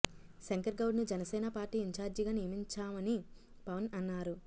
శంకర్ గౌడ్ ను Janasena party incharge గా నియమించామని పవన్ అన్నారు